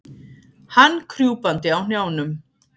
Hann krjúpandi á hnjánum.